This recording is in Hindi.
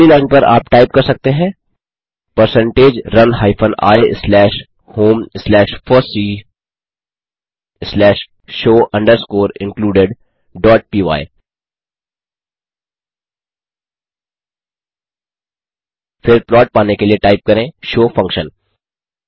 फिर अगली लाइन पर आप टाइप कर सकते हैं percentage run hyphen i slash home slash fossee slash show underscore included dot py फिर प्लॉट पाने के लिए टाइप करें शो फंक्शन